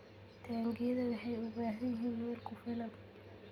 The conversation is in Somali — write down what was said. Taangiyada waxay u baahan yihiin meel ku filan.